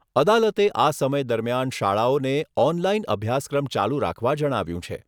અદાલતે આ સમય દરમિયાન શાળાઓને ઓનલાઈન અભ્યાસક્રમ ચાલુ રાખવા જણાવ્યુંં છે.